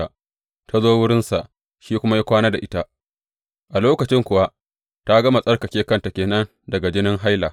Ta zo wurinsa shi kuma ya kwana da ita A lokacin kuwa ta gama tsarkake kanta ke nan daga jinin haila.